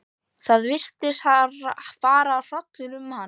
Það virtist fara hrollur um hann.